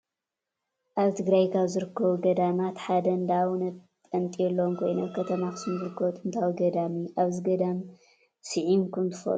አብ ትግራይ ካብ ዝርከቡ ገዳማት ሓደ እንዳ አውነ ጲጠሎን ኮይኑ አብ ከተማ አክሱም ዝርከቡ ጥንታዊ ገዳም እዩ ።አብዚ ገዳም ሲዒምኩም ትፈልጡ ዶ ?